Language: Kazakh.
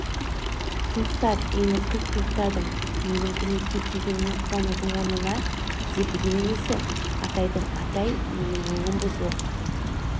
тоқтат мен кілт тоқтадым менің көмекке келгеніме қуанудың орнына зекігені несі атайдың атай менің өңім бұзылып